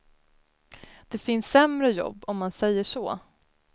Det finns sämre jobb, om man säger så.